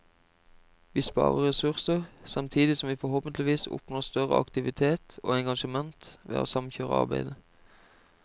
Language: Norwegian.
Vi sparer ressurser, samtidig som vi forhåpentligvis oppnår større aktivitet og engasjement ved å samkjøre arbeidet.